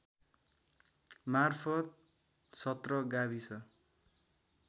मार्फत् १७ गाविस